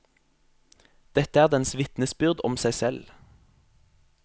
Dette er dens vitnesbyrd om seg selv.